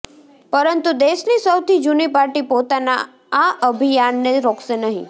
પરંતુ દેશની સૌથી જુની પાર્ટી પોતાના આ અભિયાનને રોકશે નહીં